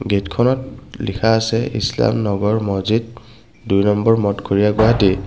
গেটখনত লিখা আছে ইছলাম নগৰ মছজিদ দুই নম্বৰ মঠঘৰীয়া গুৱাহাটী।